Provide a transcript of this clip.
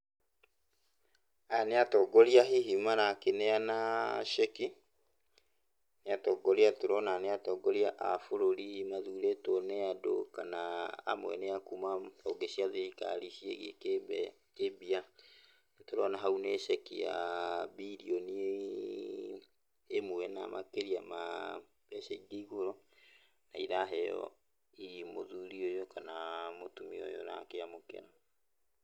Aya nĩ atongoria hihi marakĩneana ceki, nĩ atongoria tũrona nĩ atongoria a bũrũri mathurĩtwo nĩ andũ kana amwe nĩ a kuma honge cia thirikari ciĩgiĩ kĩmbia. Nĩtũrona hau nĩ ceki ya birioni ĩmwe na makĩria ma mbeca ingĩ igũrũ, na iraheo hihi mũthuri ũyũ kana mũtumia ũyũ ũrakĩamũkĩra.